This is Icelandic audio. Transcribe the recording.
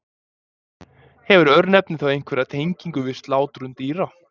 Hefur örnefnið þá einhverja tengingu við slátrun dýra?